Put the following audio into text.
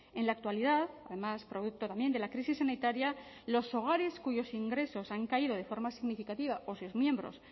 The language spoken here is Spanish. en la actualidad además producto también de la crisis sanitaria los hogares cuyos ingresos han caído de forma significativa o sus miembros